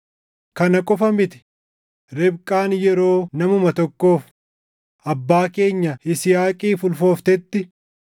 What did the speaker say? Kana qofa miti; Ribqaan yeroo namuma tokkoof, abbaa keenya Yisihaaqiif ulfooftetti,